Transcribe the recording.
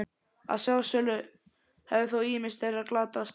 Að sjálfsögðu hafa þó ýmis þeirra glatast.